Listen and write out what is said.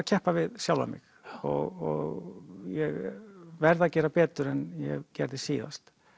keppa við sjálfan mig og ég verð að gera betur en ég gerði síðast